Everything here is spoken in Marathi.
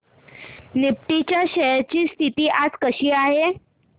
निफ्टी च्या शेअर्स ची स्थिती आज कशी आहे